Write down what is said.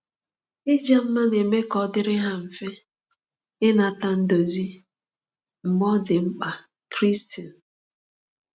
Ịja mma na-eme ka ọ dịrị ha mfe ịnata ndozi mgbe ọ dị mkpa.” – Christine.